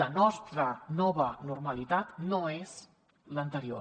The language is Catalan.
la nostra nova normalitat no és l’anterior